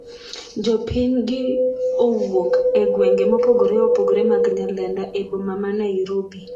jopiny giowuok e gwenge mopogore opogore mag Nyalenda ,e boma ma Nairobi